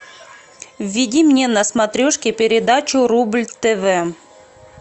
введи мне на смотрешке передачу рубль тв